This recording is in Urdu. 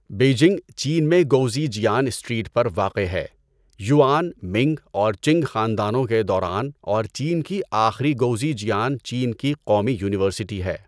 بیجنگ، چین میں گؤزیجیان اسٹریٹ پر واقع ہے، یوآن، منگ اور چنگ خاندانوں کے دوران اور چین کی آخری گؤزیجیان چین کی قومی یونیورسٹی ہے۔